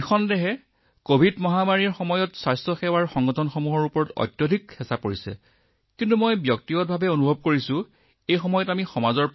অৱশ্যে কভিড মহামাৰীয়ে সকলো স্বাস্থ্য আৰু স্বাস্থ্য সম্পদৰ ওপৰত যথেষ্ট চাপৰ সৃষ্টি কৰিছিল কিন্তু মই ব্যক্তিগতভাৱে এই সংঘাতৰ সময়টোক এক সুযোগ বুলি বিবেচনা কৰো